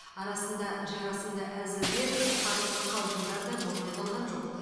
арасында жарасымды әзілдер қағытпа қалжыңдар да болмай қалған жоқ